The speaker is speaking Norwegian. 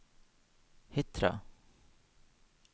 Hitra